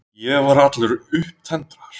Ég var allur upptendraður.